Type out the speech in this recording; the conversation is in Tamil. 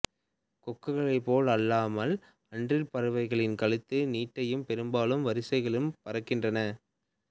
கொக்குகளைப் போல் அல்லாமல் அன்றில் பறவைகள் கழுத்தை நீட்டியும் பெரும்பாலும் வரிசைகளிலும் பறக்கின்றன